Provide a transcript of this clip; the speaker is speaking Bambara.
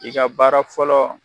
I ka baara fɔlɔ